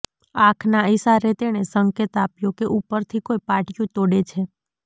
આંખના ઈશારે તેણે સંકેત આપ્યો કે ઉપરથી કોઈ પાટીયું તોડે છે